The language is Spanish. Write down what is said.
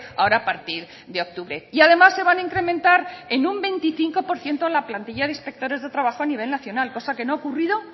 ahora a partir de octubre y además se van a incrementar en un veinticinco por ciento la plantilla de inspectores de trabajo a nivel nacional cosa que no ha ocurrido